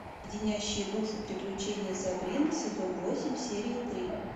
леденящие душу приключения сабрины сезон восемь серия три